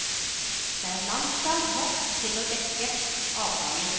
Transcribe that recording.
Det er langtfra nok til å dekke avgangen.